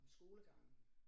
Om skolegangen